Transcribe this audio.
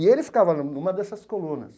E ele ficava numa dessas colunas.